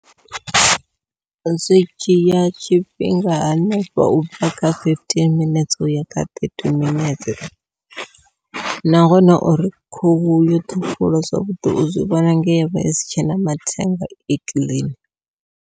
Zwi dzhia tshifhinga hanefho ubva kha fifteen minetse uya kha thirty minetse, nahone uri khuhu yo thuvhiwa zwavhuḓi u zwivhona nge yavha isi tshena mathenga i clean.